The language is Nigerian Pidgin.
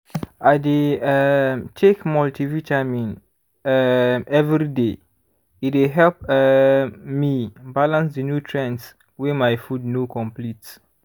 i dey um take multivitamin um every day e dey help um me balance the nutrients wey my food no complete